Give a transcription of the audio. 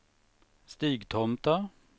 Stigtomta